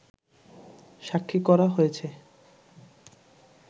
সাক্ষী করা হয়েছে